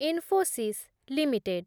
Infosys limited